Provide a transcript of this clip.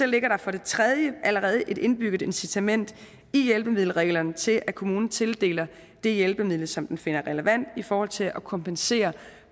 ligger der for det tredje allerede indbygget et incitament i hjælpemiddelreglerne til at kommunen tildeler det hjælpemiddel som den finder relevant i forhold til at kompensere